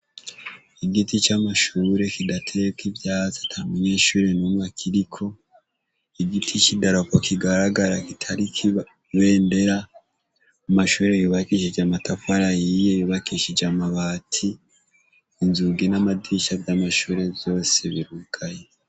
Igiti c'amashure kidateyeko ivyatsi atamunyeshure numwe akiriko, igiti c'idarapo kigaragara kitariko ibendera, amashure yubakishije amatafari ahiye, yubakishije amabati inzugu n'amadirisha vy'amashure yose birugaye.